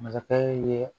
Masakɛ ye